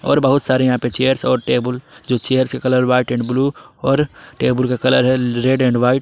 और बहुत सारे यहां पर चेयर्स और टेबुल जो चेयर के कलर व्हाइट एंड ब्लू और टेबल का कलर है रेड एंड व्हाइट ।